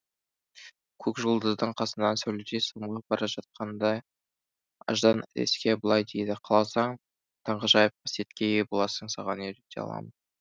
көк жұлдыздың қасынан сәуледей самғап бара жатқанда аждан әдеске былай дейді қаласаң таңғажайып қасиетке ие боласың саған үйрете аламын